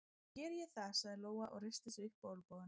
Þá geri ég það, sagði Lóa og reisti sig upp á olnbogana.